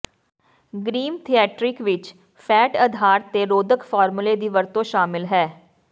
ਗ੍ਰੀਮ theatrical ਵਿੱਚ fat ਅਧਾਰ ਤੇ ਰੋਧਕ ਫਾਰਮੂਲੇ ਦੀ ਵਰਤੋਂ ਸ਼ਾਮਲ ਹੈ